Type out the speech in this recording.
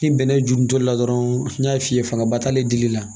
Ni bɛnɛ juru toli la dɔrɔn n y'a f'i ye fanga t'ale dili la